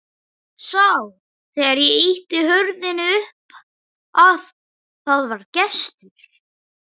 Sá þegar ég ýtti hurðinni upp að það var gestur.